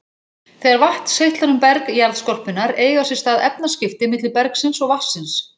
Þegar vatn seytlar um berg jarðskorpunnar eiga sér stað efnaskipti milli bergsins og vatnsins.